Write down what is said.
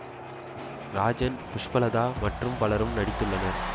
ராஜன் புஷ்பலதா மற்றும் பலரும் நடித்துள்ளனர்